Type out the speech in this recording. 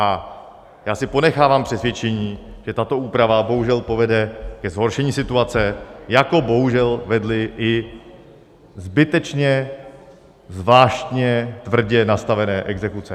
A já si ponechávám přesvědčení, že tato úprava bohužel povede ke zhoršení situace, jako bohužel vedly i zbytečně, zvláštně, tvrdě nastavené exekuce.